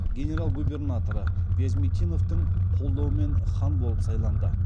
генерал губернаторы вязмитиновтың қолдауымен хан болып сайланды